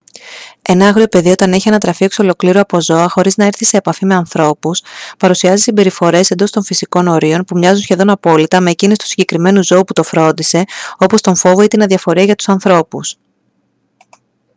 ένα άγριο παιδί όταν έχει ανατραφεί εξ ολοκλήρου από ζώα χωρίς να έχει έρθει σε επαφή με ανθρώπους παρουσιάζει συμπεριφορές εντός των φυσικών ορίων που μοιάζουν σχεδόν απόλυτα με εκείνες του συγκεκριμένου ζώου που το φρόντισε όπως τον φόβο ή την αδιαφορία του για τους ανθρώπους